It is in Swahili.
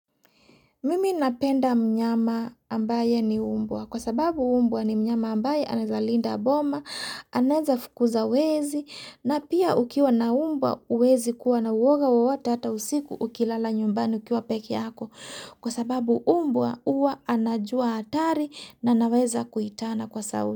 Mimi napenda mnyama ambaye ni umbwa. Kwa sababu umbwa ni mnyama ambaye anaezalinda boma, anaezafukuza wezi, na pia ukiwa na umbwa huwezi kuwa na uoga wowote hata usiku ukilala nyumbani ukiwa pekee yako. Kwa sababu umbwa huwa anajua hatari na anaweza kuitana kwa sauti.